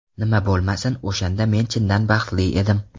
Nima bo‘lmasin, o‘shanda men chindan baxtli edim.